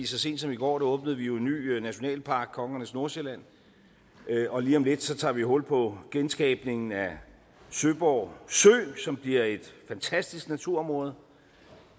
så sent som i går åbnede vi jo en ny nationalpark kongernes nordsjælland og lige om lidt tager vi hul på genskabningen af søborg sø som bliver et fantastisk naturområde